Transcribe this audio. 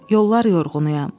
Yollar yorğunuam.